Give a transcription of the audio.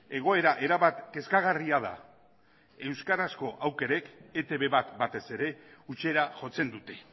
egoera erabat kezkagarria da euskarazko aukerek etb bat batez ere hutsera jotzen dute